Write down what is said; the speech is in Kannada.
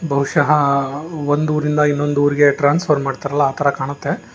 ಬಹುಶಃ ಒಂದು ಊರಿಂದ ಇನ್ನೊಂದು ಊರಿಗೆ ಟ್ರಾನ್ಸ್ಫರ್ ಮಾಡ್ತಾರಲ್ಲ ಆತರ ಕಾಣುತ್ತೆ.